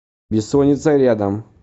бессонница рядом